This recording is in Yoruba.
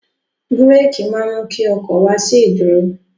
Búrékì máa mú kí ọkọ̀ wá sí ìdúró.